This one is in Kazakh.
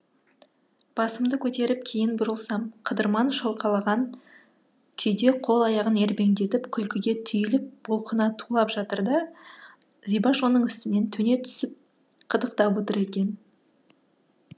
басымды көтеріп кейін бұрылсам қыдырман шалқалаған күйде қол аяғын ербеңдетіп күлкіге түйіліп бұлқына тулап жатыр да зибаш оның үстінен төне түсіп қытықтап отыр екен